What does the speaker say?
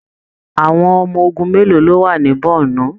Àwọn ọmọ ogun mélòó ló wà ní Bornu?